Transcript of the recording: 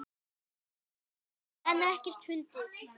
hildi en ekkert fundið.